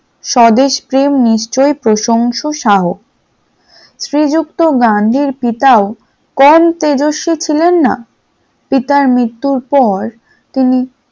স্বদেশপ্রেম নিশ্চয়ই প্রশংসা সহায়ক, শ্রীযুক্ত গান্ধীর পিতা কম তেজস্বী ছিলেন না পিতার মৃত্যুর পর তিনি